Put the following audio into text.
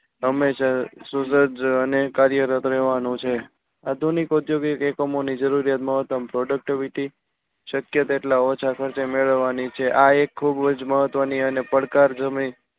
હમેશા અને કાર્યરત રેવાનું છે આધુનિક ઉદ્યોગિક એકમો ની જરૂરિયાત મહત્તમ productivity શક્ય તેટલા ઓછા ખર્ચે મેળવવાની છે. આ એક ખુબ જ મહત્વ ની અને પડકાર